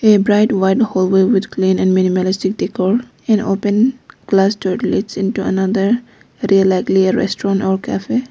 A bright white hall way with clean and minimalistic decor an open glassdoor leads in to another rear likely a restaurant or cafe.